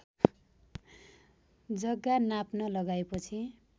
जग्गा नाप्न लगाएपछि